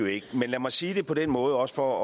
ikke men lad mig sige det på den måde også for